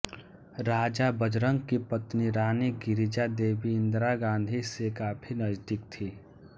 राजा बजरंग की पत्नी रानी गिरिजा देवी इंदिरा गाँधी से काफ़ी नजदीक थी